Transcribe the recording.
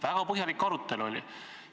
Väga põhjalik arutelu oli.